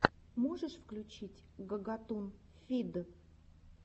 можешь включить гагатун фид